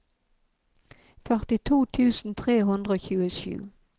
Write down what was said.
førtito tusen tre hundre og tjuesju